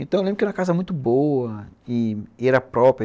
Então eu lembro que era uma casa muito boa e era própria.